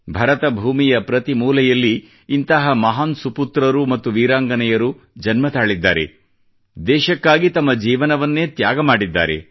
ಭರತ ಭೂಮಿಯ ಪ್ರತಿ ಮೂಲೆಯಲ್ಲಿ ಇಂತಹ ಮಹಾನ್ ಪುತ್ರರು ಮತ್ತು ವೀರಾಂಗನೆಯರು ಜನ್ಮ ತಾಳಿದ್ದಾರೆ ದೇಶಕ್ಕಾಗಿ ತಮ್ಮ ಜೀವನವನ್ನೇ ತ್ಯಾಗ ಮಾಡಿದ್ದಾರೆ